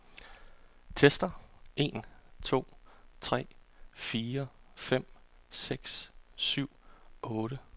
Tester en to tre fire fem seks syv otte.